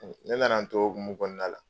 Ne nana o hukumu kɔnɔna la